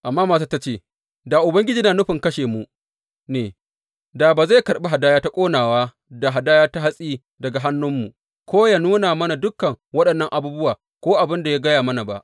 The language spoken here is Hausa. Amma matar ta ce, Da Ubangiji yana nufin kashe mu ne, da ba zai karɓi hadaya ta ƙonawa da hadaya ta hatsi daga hannunmu, ko yă nuna mana dukan waɗannan abubuwa ko abin da ya gaya mana ba.